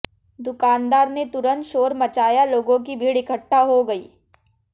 दुकानदार ने तुंरत शोर मचाया लोगों की भीड़ इकट्ठा हो गई